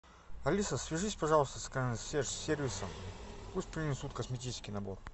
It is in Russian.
алиса свяжись пожалуйста с консьерж сервисом пусть принесут косметический набор